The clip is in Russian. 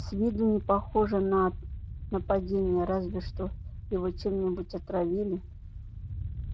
с виду не похоже на нападение разве что его чем-нибудь отравили